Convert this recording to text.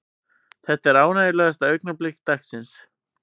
Þetta er ánægjulegasta augnablik dagsins.